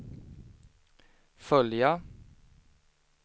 följa